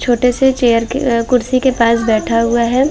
छोटे से चेयर के अ कुर्सी के पास बैठा हुआ है।